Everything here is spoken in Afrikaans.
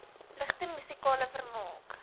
ligte musikale vermaak